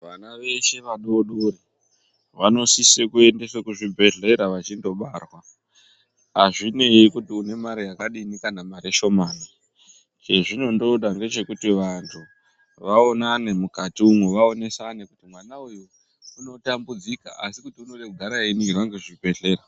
Vana veshe vadodori vanosise kuendeswe kuzvibhedhlera vachindobarwa azvinei kuti une marE yakadini kana mare shomani chezvinondoda ngechekuti vantu vaonanne mukati umwu vaonesane kuti mwana uyu Unotambudzika asi kuti unofane kugara einingirwa ngezvibhedhlera.